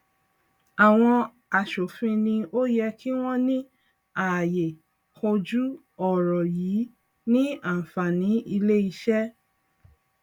àwọn asòfin ni ó yẹ kí wọn ní àyè kojú ọrọ yìí ní àǹfàní ilé iṣé